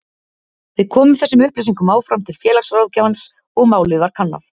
Við komum þessum upplýsingum áfram til félagsráðgjafans og málið var kannað.